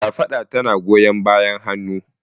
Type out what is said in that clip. Kafada tana goyan bayan hannu.